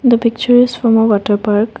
the picture is from a water park.